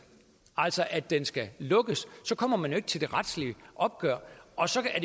altså at den skal lukkes så kommer man jo ikke til det retslige opgør og så er